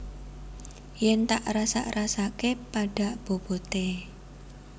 Yen tak rasak rasakke pada bobote